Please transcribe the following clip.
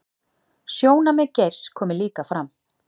Sjónarmið Geirs komi líka fram